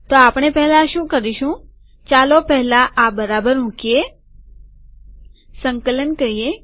તો આપણે પહેલા શું કરીશું ચાલો પહેલા આ બરાબર મુકીએ સંકલન કરીએ